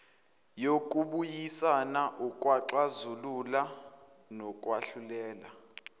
yokubuyisana ukuxazulula nokwahlulela